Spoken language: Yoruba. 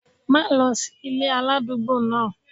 Má lọ sí ilé aládùúgbò náà!